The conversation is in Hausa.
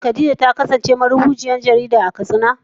Shin Khadija ta kasance marubuciyar jarida a Katsina?